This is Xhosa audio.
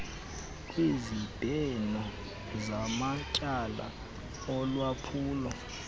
kwezibheno zamatyala olwaphulo